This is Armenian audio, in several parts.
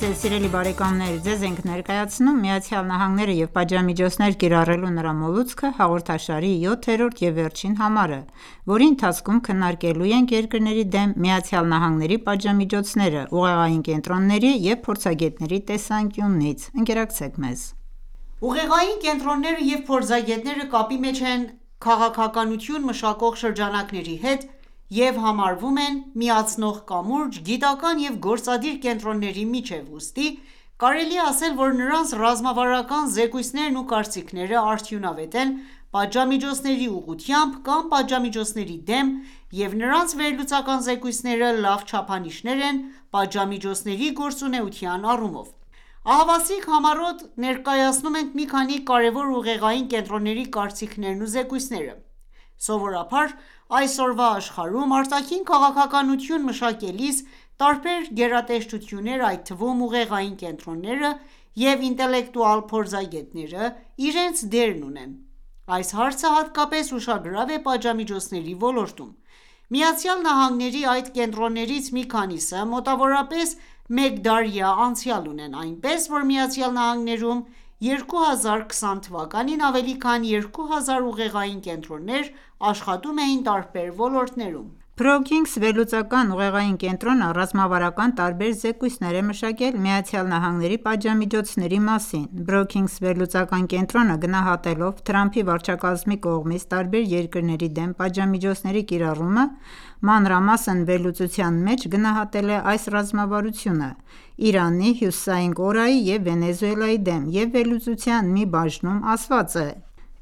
ձեզ սիրելի բարեկամներ:Ձեզ ենք ներկայացնում ,«Միացյալ Նահանգները և պատժամիջոցներ կիրառելու նրա մոլուցքը » հաղորդաշարի 7-րդ և վերջին համարը ,որի ընթացքում քննարկելու ենք երկրների դեմ ԱՄՆ-ի պատժամիջոցները՝ ուղեղային կենտրոնների և փորձագետների տեսանկյունից։ Ընկերակցեք մեզ: Ուղեղային կենտրոնները և փորձագետները կապի մեջ են քաղաքականություն մշակող շրջանակների հետ և համարվում են միացնող կամուրջ՝ գիտական և գործադիր կենտրոնների միջև, ուստի, կարելի է ասել, որ նրանց ռազմավարական զեկույցներն ու կարծիքները արդյունավետ են պատժամիջոցների ուղղությամբ կամ պատժամիջոցների դեմ և նրանց վերլուծական զեկույցները լավ չափանիշներ են պատժամիջոցների գործունակության առումով: Ահավասիկ համառոտ ներկայացնում ենք մի քանի կարևոր ուղեղային կենտրոնների կարծիքներն ու զեկույցները: Սովորաբար, այսօրվա աշխարհում արտաքին քաղաքականություն մշակելիս տարբեր գերատեսչություններ, այդ թվում՝ ուղեղային կենտրոնները և ինտելեկտուալ փորձագետները, իրենց դերն ունեն: Այս հարցը հատկապես ուշագրավ է պատժամիջոցների ոլորտում։ ԱՄՆ-ի այդ կենտրոններից մի քանիսը մոտավորապես մեկ դարյա անցյալ ունեն, այնպես որ ԱՄՆ-ում 2020 թվականին ավելի քան երկու հազար ուղեղային կենտրոններ աշխատում էին տարբեր ոլորտներում։ Brookings վերլուծական ուղեղային կենտրոնը ռազմավարական տարբեր զեկույցներ է մշակել ԱՄՆ –ի պատժամիջոցների մասին։ Brookings վերլուծական կենտրոնը, գնահատելով Դոնալդ Թրամփի վարչակազմի կողմից տարբեր երկրների դեմ պատժամիջոցների կիրառումը, մանրամասն վերլուծության մեջ գնահատել է այս ռազմավարությունը՝ Իրանի, Հյուսիսային Կորեայի և Վենեսուելայի դեմ,և վերլուծության մի բաժնում ասված է.«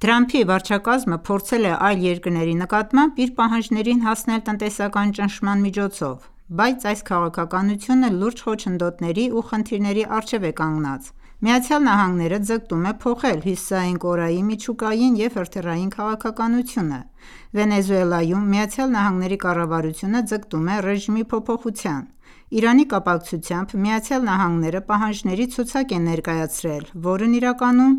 Թրամփի վարչակազմը փորձել է այլ երկրների նկատմամբ իր պահանջներին հասնել տնտեսական ճնշման միջոցով: Բայց այս քաղաքականությունը լուրջ խոչընդոտների ու խնդիրների առջև է կանգնած: ԱՄՆ-ն ձգտում է փոխել Հյուսիսային Կորեայի միջուկային և հրթիռային քաղաքականությունը: Վենեսուելայում ,ԱՄՆ-ի կառավարությունը ձգտում է ռեժիմի փոփոխության: Իրանի կապացկությամբ ,ԱՄՆ-ն պահանջների ցուցակ է ներկայացրել, որն իրականում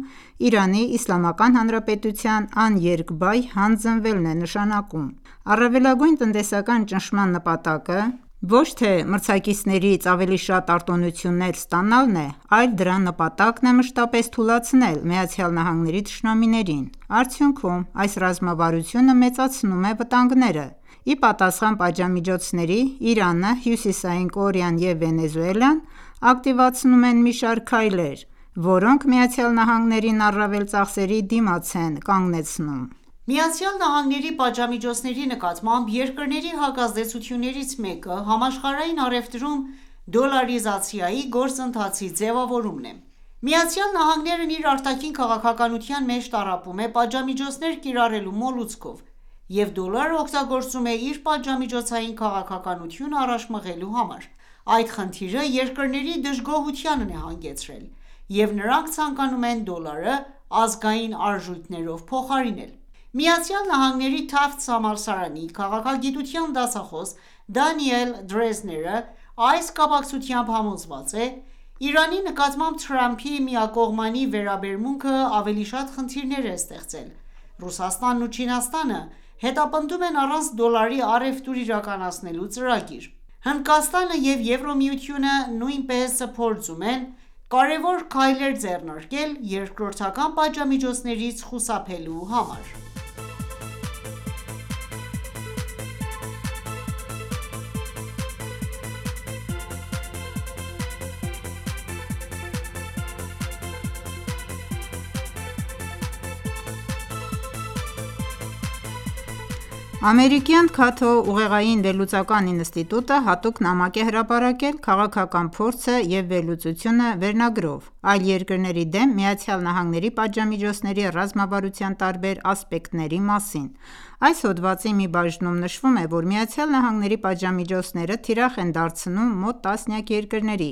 Իրանի Իսլամական Հանրապետության աներկբայ հանձնվելն է նշանակում: Առավելագույն տնտեսական ճնշման նպատակը ոչ թե մրցակիցներից ավելի շատ արտոնություններ ստանալն է, այլ դրա նպատակն է մշտապես թուլացնել ԱՄՆ-ի թշնամիներին։ Արդյունքում ,այս ռազմավարությունը մեծացնում է վտանգները։ Ի պատասխան պատժամիջոցների՝ Իրանը, Հյուսիսային Կորեան և Վենեսուելան ակտիվացնում են մի շարք քայլեր ,որոնք ԱՄՆ-ին առավել ծախսերի դիմաց են կանգնեցնում: ԱՄՆ-ի պատժամիջոցների նկատմամբ երկրների հակազդեցություններից մեկը՝ համաշխարհային առևտրում դոլարիզացիայի գործընթացի ձևավորումն է։ ԱՄՆ-ն իր արտաքին քաղաքականության մեջ տառապում է պատժամիջոցներ կիրառելու մոլուցքով և դոլարը օգտագործում է իր պատժամիջոցային քաղաքականությունը առաջ մղելու համար, այդ խնդիրը երկրների դժգոհությանն է հանգեցրել ,և նրանք ցանկանում են դոլարը ազգային արժույթներով փոխարինել ։ ԱՄՆ-ի « Թաֆթս» համալսարանի քաղաքագիտության դասախոս Դանիել Դրեզները այս կապակցությամբ համոզված է.« Իրանի նկատմամբ Թրամփի միակողմանի վերաբերմունքը ավելի շատ խնդիրներ է ստեղծել։ Ռուսաստանն ու Չինաստանը հետապնդում են առանց դոլարի առևտուր իրականացնելու ծրագրեր: Հնդկաստանը և Եվրամիությունը նույնպես փորձում են կարևոր քայլեր ձեռնարկել երկրորդական պատժամիջոցներից խուսափելու համար։ Ամերիկյան «Cato» ուղեղային վերլուծական ինստիտուտը հատուկ նամակ է հրապարակել «Քաղաքական փորձը և վերլուծությունը» վերնագրով ,այլ երկրների դեմ ԱՄՆ –ի պատժամիջոցների ռազմավարության տարբեր ասպեկտների մասին։ Այս հոդվածի մի բաժնում նշվում է, որ ԱՄՆ-ի պատժամիջոցները թիրախ են դարձնում մոտ տասնյակ երկրների,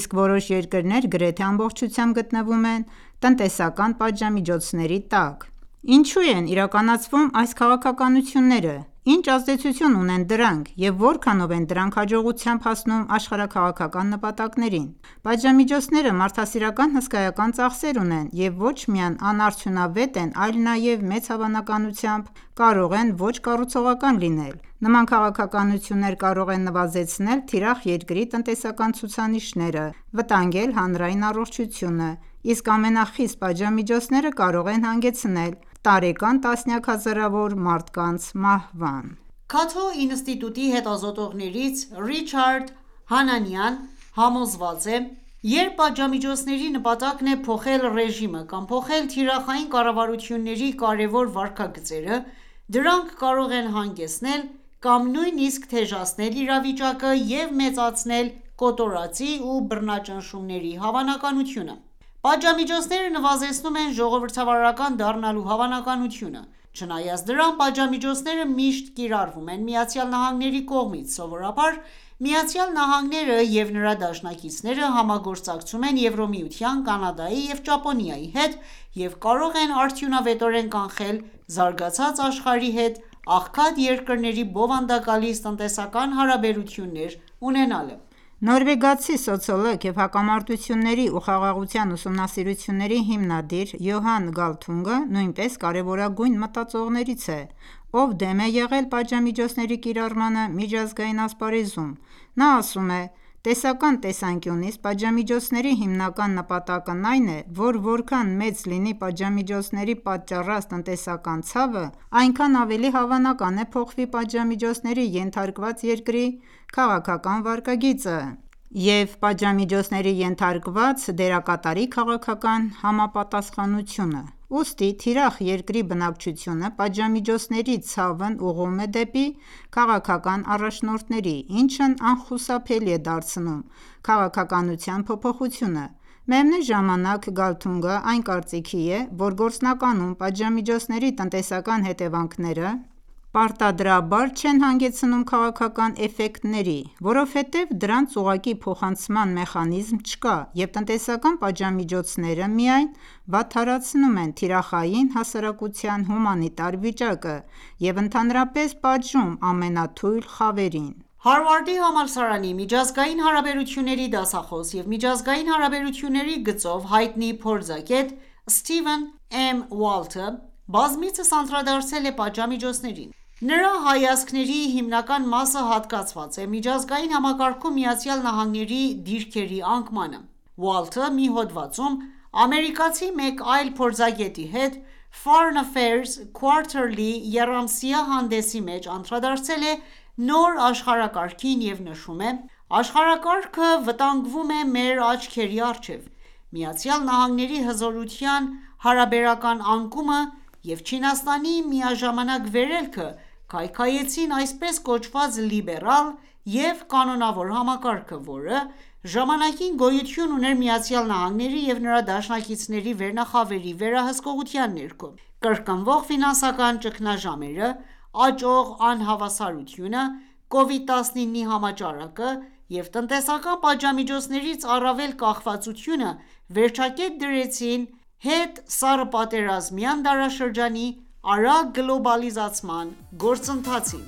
իսկ որոշ երկրներ գրեթե ամբողջությամբ գտնվում են տնտեսական պատժամիջոցների տակ։ Ինչո՞ւ են իրականացվում այս քաղաքականությունները, ի՞նչ ազդեցություն ունեն դրանք և որքանո՞վ են դրանք հաջողությամբ հասնում աշխարհաքաղաքական նպատակներին։ Պատժամիջոցները մարդասիրական հսկայական ծախսեր ունեն և ոչ միայն անարդյունավետ են, այլ նաև մեծ հավանականությամբ կարող են ոչ կառուցողական լինել: Նման քաղաքականություններ կարող են նվազեցնել թիրախ երկրի տնտեսական ցուցանիշները, վտանգել հանրային առողջությունը, իսկ ամենախիստ պատժամիջոցները կարող են հանգեցնել տարեկան տասնյակ հազարավոր մարդկանց մահվան: «Cato» ինստիտուտի հետազոտողներից Ռիչարդ Հանանիան համոզված է.«Երբ պատժամիջոցների նպատակն է փոխել ռեժիմը կամ փոխել թիրախային կառավարությունների կարևոր վարքագծերը, դրանք կարող են հանգեցնել կամ նույնիսկ թեժացնել իրավիճակը և մեծացնել կոտորածի ու բռնաճնշումների հավանականությունը: Պատժամիջոցնեը նվազեցնում են ժողովրդավարական դառնալու հավանականությունը։ Չնայած դրան, պատժամիջոցները միշտ կիրառվում են ԱՄՆ-ի կողմից։ Սովորաբար, ԱՄՆ-ն և նրա դաշնակիցները համագործակցում են Եվրամիության, Կանադայի և Ճապոնիայի հետ և կարող են արդյունավետորեն կանխել զարգացած աշխարհի հետ աղքատ երկրների բովանդակալից տնտեսական հարաբերություններ ունենալը: Նորվեգացի սոցիոլոգ և հակամարտությունների ու խաղաղության ուսումնասիրությունների հիմնադիր Յոհան Գալթունգը նույնպես կարևորագույն մտածողներից է, ով դեմ է եղել պատժամիջոցների կիրառմանը միջազգային ասպարեզում:Նա ասում է.« Տեսական տեսանկյունից ,պատժամիջոցների հիմնական նպատակն այն է, որ որքան մեծ լինի պատժամիջոցների պատճառած տնտեսական ցավը, այնքան ավելի հավանական է փոխվի պատժամիջոցների ենթարկված երկրի քաղաքական վարքագիծը և պատժամիջոցների ենթարկված դերակատարի քաղաքական համապատասխանությունը: Ուստի ՝ թիրախ երկրի բնակչությունը պատժամիջոցների ցավն ուղղում է դեպի քաղաքական առաջնորդները, ինչն անխուսափելի է դարձնում քաղաքականության փոփոխությունը։ Միևնույն ժամանակ, Գալթունգը այն կարծիքի է, որ գործնականում պատժամիջոցների տնտեսական հետևանքները պարտադրաբար չեն հանգեցնում քաղաքական էֆեկտների, որովհետև դրանց ուղղակի փոխանցման մեխանիզմ չկա, և տնտեսական պատժամիջոցները միայն վատթարացնում են թիրախային հասարակության հումանիտար վիճակը, և ընդհանրապես պատժում ամենաթույլ խավերին։ Հարվարդի համալսարանի միջազգային հարաբերությունների դասախոս և միջազգային հարաբերությունների գծով հայտնի փորձագետ Սթիվեն ԷՄ. Ուալթը բազմիցս անդրադարձել է պատժամիջոցներին: Նրա հայացքների հիմնական մասը հատկացված է միջազգային համակարգում ԱՄՆ-ի դիրքերի անկմանը։ Ուալթը մի հոդվածում ,ամերիկացի մեկ այլ փորձագետի հետ Foreign Affairs Quarterly-եռամսյա հանդեսի մեջ անդրադարձել է նոր աշխարհակարգին և նշում է.«Աշխարհակարգը վտանգվում է մեր աչքերի առջև: ԱՄՆ-ի հզորության հարաբերական անկումը և Չինաստանի միաժամանակ վերելքը, քայքայեցին այսպես կոչված լիբերալ և կանոնավոր համակարգը, որը ժամանակին գոյություն ուներ ԱՄՆ-ի և նրա դաշնակիցների վերնախավերի վերահսկողության ներքո: Կրկնվող ֆինանսական ճգնաժամերը, աճող անհավասարությունը, Կովիդ-19-ի համաճարակը և տնտեսական պատժամիջոցներից առավել կախվածությունը, վերջակետ դրեցին հետսառըպատերազմյան դարաշրջանի արագ գլոբալացման գործընթացին»։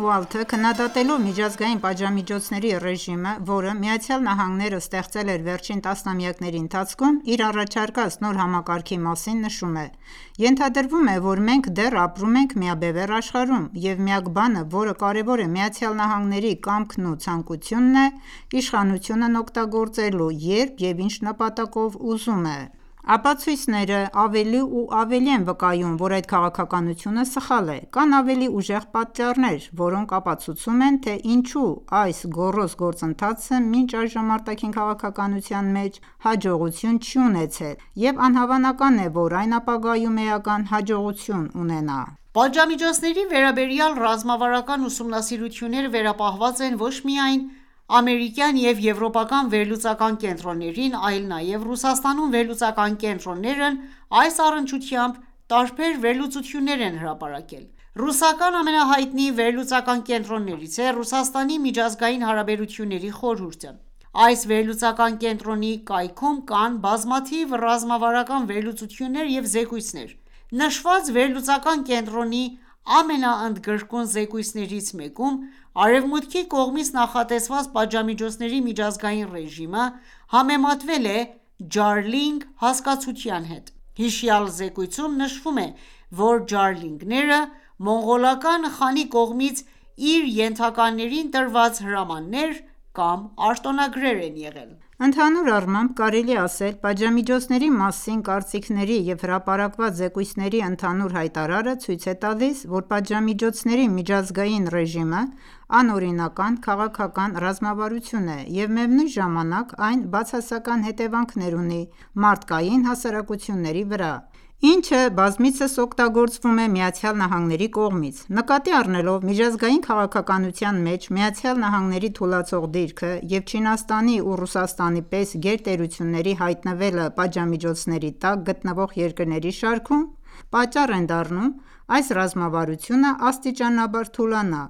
Ուալթը քննադատելով միջազգային պատժամիջոցների ռեժիմը, որը ԱՄՆ-ն ստեղծել էր վերջին տասնամյակների ընթացքում, իր առաջարկած նոր համակարգի մասին նշում է.« Ենթադրվում է, որ մենք դեռ ապրում ենք միաբևեռ աշխարհում, և միակ բանը, որը կարևոր է՝ ԱՄՆ-ի կամքն ու ցանկությունն է՝ իշխանությունն օգտագործելու երբ և ինչ նպատակով ուզում է։ Ապացույցները ավելի ու ավելի են վկայում ,որ այդ քաղաքականությունը սխալ է: Կան ավելի ուժեղ պատճառներ, որոնք ապացուցում են թե ինչու այս գոռոզ գործընթացը մինչ այժմ արտաքին քաղաքականության մեջ հաջողություն չի ունեցել, և անհավանական է, որ այն ապագայում էական հաջողություն ունենա։ Պատժամիջոցների վերաբերյալ ռազմավարական ուսումնասիրությունները վերապահված են ոչ միայն ամերիկյան և եվրոպական վերլուծական կենտրոններին, այլ նաև Ռուսաստանում վերլուծական կենտրոններն այս առնչությամբ տարբեր վերլուծություններ են հրապարակել։ Ռուսական ամենահայտնի վերլուծական կենտրոններից է Ռուսաստանի միջազգային հարաբերությունների խորհուրդը (RIAC): Այս վերլուծական կենտրոնի կայքում կան բազմաթիվ ռազմավարական վերլուծություններ և զեկույցներ։ Նշված վերլուծական կենտրոնի ամենաընդգրկուն զեկույցներից մեկում Արևմուտքի կողմից նախատեսված պատժամիջոցների միջազգային ռեժիմը համեմատվել է «Ջարլիգ» հասկացության հետ։ Հիշյալ զեկույցում նշվում է, որ Ջարլիգները մոնղոլական խանի կողմից իր ենթականերին տրված հրամաններ կամ արտոնագրեր են եղել ։ Ընդհանուր առմամբ, կարելի է ասել.«Պատժամիջոցների մասին կարծիքների և հրապարակված զեկույցների ընդհանուր հայտարարը ցույց է տալիս, որ պատժամիջոցների միջազգային ռեժիմը՝անօրինական, քաղաքական ռազմավարություն է և միևնույն ժամանակ այն բացասական հետևանքներ ունի մարդկային հասարակությունների վրա, ինչը, բազմիցս օգտագործվում է ԱՄՆ-ի կողմից: Նկատի առնելով միջազգային քաղաքականության մեջ ԱՄՆ-ի թուլացող դիրքը և Չինաստանի ու Ռուսաստանի պես գերտերությունների հայտնվելը պատժամիջոցների տակ գնտվող երկրների շարքում, պատճառ են դառնում ,այս ռազմավարությունը աստիճանաբար թուլանա: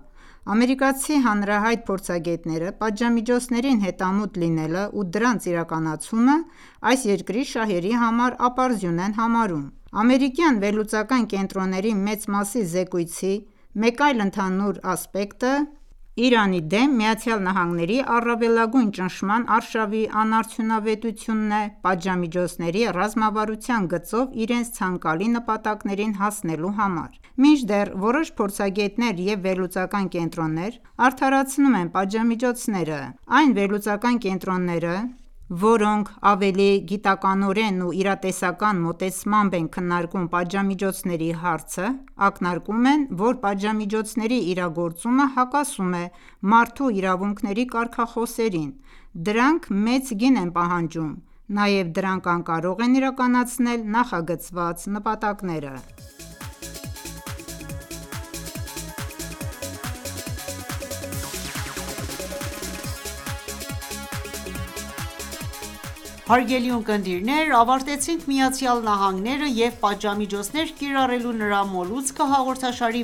Ամերիկացի հանրահայտ փորձագետները պատժամիջոցներին հետամուտ լինելը ու դրանց իրականացումը այս երկրի շահերի համար ապարդյուն են համարում: Ամերիկյան վերլուծական կենտրոնների մեծ մասի զեկույցի մեկ այլ ընդհանուր ասպեկտը Իրանի դեմ ԱՄՆ-ի առավելագույն ճնշման արշավի անարդյունավետությունն է պատժամիջոցների ռազմավարության գծով իրենց ցանկալի նպատակներին հասնելու համար: Մինչդեռ որոշ փորձագետներ և վերլուծական կենտրոններ արդարացնում են պատժամիջոցները։ Այն վերլուծական կենտրոնները ,որոնք ավելի գիտականորեն ու իրատեսական մոտեցմամբ են քննարկում պատժամիջոցների հարցը, ակնարկում են ,որ պատժամիջոցների իրագործումը հակասում է մարդու իրավունքների կարգախոսերին, դրանք մեծ գին են պահանջում ,նաև դրանք անկարող են իրականացնել նախագծված նպատակները: Հարգելի ունկնդիրներ, ավարտեցինք «Միացյալ Նահանգները և պատժամիջոցներ կիրառելու նրա մոլուցքը» հաղորդաշարի